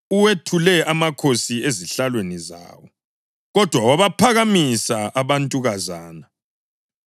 Uwethule amakhosi ezihlalweni zawo, kodwa wabaphakamisa abantukazana.